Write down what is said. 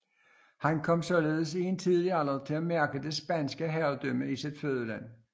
Han kom således i en tidlig alder til at mærke det spanske herredømme i sit fødeland